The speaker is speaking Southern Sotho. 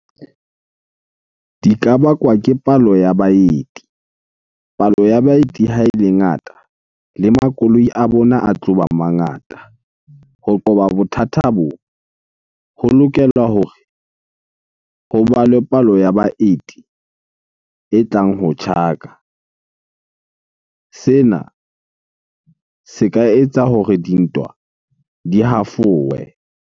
Di ka bakwa ke palo ya baeti. Palo ya baeti ha ele ngata le makoloi a bona a tloba mangata. Ho qoba bothata bo, ho lokelwa hore ho balwe palo ya baeti e tlang ho tjhaka. Sena se ka etsa hore dintwa di hafowe.